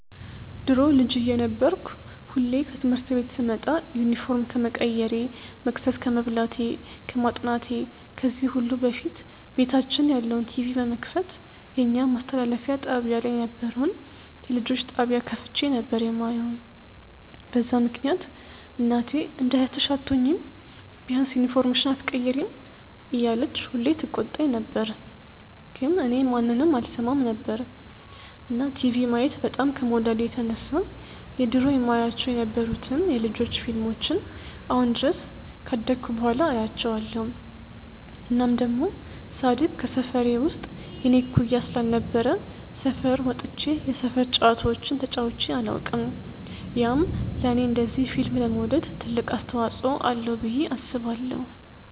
ድሮ ልጅ እየነበርኩ ሁሌ ከትምህርት ቤት ስመጣ ዩኒፎርም ከመቀየሬ፣ መቅሰስ ከመብላቴ፣ ከማጥናቴ ከዚህ ሁሉ በፊት ቤታችን ያለውን ቲቪ በመክፈት የኛ ማስተላለፊያ ጣብያ ላይ የነበረውን የልጆች ጣብያ ከፍቼ ነበር የማየው፤ በዛ ምክንያት እናቴ እንደ እህትሽ አትሆኚም፤ ቢያንስ ዩኒፎርምሽን ኣትቀይሪም እያለች ሁሌ ትቆጣኝ ነበር ግን እኔ ማንንም አልሰማም ነበር። እና ቲቪ ማየት በጣም ከመውደዴ የተነሳ የድሮ የማያቸው የነበሩትን የ ልጆች ፊልሞችን አሁን ድረስ ካደኩ በኋላ አያቸዋለው። እናም ደሞ ሳድግ ከሰፈሬ ውስጥ የኔ እኩያ ስላልነበረ ሰፈር ወጥቼ የሰፈር ጨዋታዎችን ተጫዉቼ ኣላውቅም፤ ያም ለኔ እንደዚ ፊልም ለመውደድ ትልቅ አስተዋፅዎ አለው ብዬ አስባለው።